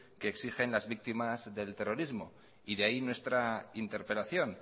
que exigen las víctimas del terrorismo y de ahí nuestra interpelación